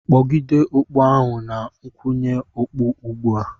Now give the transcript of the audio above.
kpọgide okpu ahụ na nkwụnye okpu ugbu a!